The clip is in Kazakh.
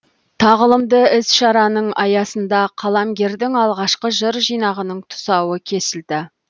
тағылымды іс шараның аясында қаламгердің алғашқы жыр жинағының тұсауы кесілді